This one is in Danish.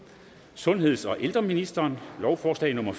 sundheds og ældreministeren lovforslag nummer